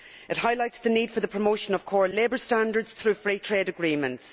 It highlights the need for the promotion of core labour standards through Free Trade Agreements.